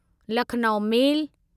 Lucknow मेल